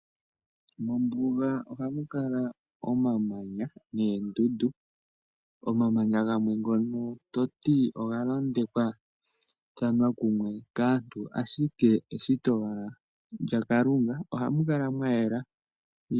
Mombuga ohamu kala omamanya noondundu, omamanya gamwe ngono toti oga londekwathana komuntu uhe eshito lyakalunga ohamu kala mwa yela .